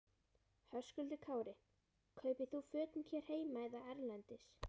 Höskuldur Kári: Kaupir þú fötin hér heima eða erlendis?